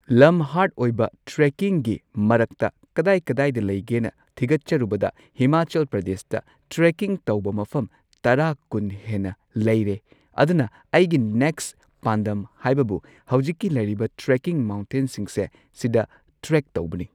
ꯂꯝ ꯍꯥꯔꯗ ꯑꯣꯏꯕ ꯇ꯭ꯔꯦꯀꯤꯡꯒꯤ ꯃꯔꯛꯇ ꯀꯗꯥꯢ-ꯀꯗꯥꯢꯗ ꯂꯩꯒꯦꯅ ꯊꯤꯒꯠꯆꯔꯨꯕꯗ ꯍꯤꯃꯥꯆꯜ ꯄ꯭ꯔꯗꯦꯁꯇ ꯇ꯭ꯔꯦꯀꯤꯡ ꯇꯧꯕ ꯃꯐꯝ ꯇꯔꯥ ꯀꯨꯟ ꯍꯦꯟꯅ ꯂꯩꯔꯦ ꯑꯗꯨꯅ ꯑꯩꯒꯤ ꯅꯦꯛꯁ ꯄꯥꯟꯗꯝ ꯍꯥꯏꯕꯕꯨ ꯍꯧꯖꯤꯛꯀꯤ ꯂꯩꯔꯤꯕ ꯇ꯭ꯔꯦꯀꯤꯡ ꯃꯥꯎꯟꯇꯦꯟꯁꯤꯡꯁꯦ ꯁꯤꯗ ꯇ꯭ꯔꯦꯛ ꯇꯧꯕꯅꯤ꯫